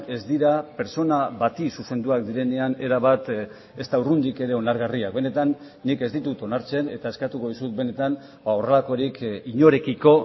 ez dira pertsona bati zuzenduak direnean erabat ez da urrundik ere onargarriak benetan nik ez ditut onartzen eta eskatuko dizut benetan horrelakorik inorekiko